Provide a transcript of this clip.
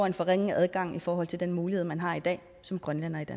en forringet adgang i forhold til den mulighed man har i dag som grønlænder